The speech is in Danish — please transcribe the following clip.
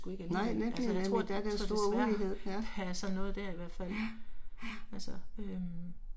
Nej nemlig, nemlig der er der stor ulighed ja. Ja, ja